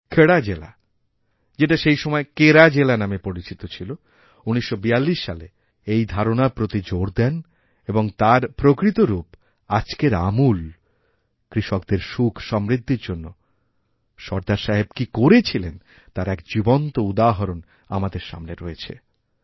খেড়া জেলা যেটা সেই সময়কেরা জেলা নামে পরিচিত ছিল ১৯৪২ সালে এই ধারণার প্রতি জোর দেন এবং তার প্রকৃতরূপ আজকের আমূল কৃষকদের সুখসমৃদ্ধির জন্য সরদার সাহেব কী করে করেছিলেন তার একজীবন্ত উদাহরণ আমাদের সামনে রয়েছে